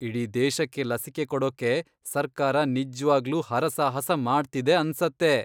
ಇಡೀ ದೇಶಕ್ಕೆ ಲಸಿಕೆ ಕೊಡೋಕ್ಕೆ ಸರ್ಕಾರ ನಿಜ್ವಾಗ್ಲೂ ಹರಸಾಹಸ ಮಾಡ್ತಿದೆ ಅನ್ಸತ್ತೆ.